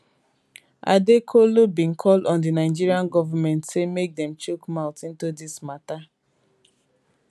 adekolu bin call on di nigerian govment say make dem chook mouth into di matter